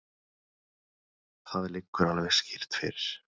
Það liggur alveg skýrt fyrir.